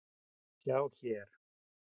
Sjá hér